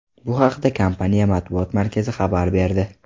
Bu haqda kompaniya matbuot markazi xabar berdi .